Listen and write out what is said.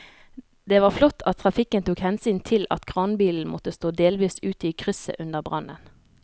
Det var flott at trafikken tok hensyn til at kranbilen måtte stå delvis ute i krysset under brannen.